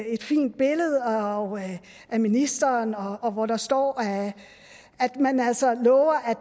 et fint billede af ministeren hvor der står at man altså lover at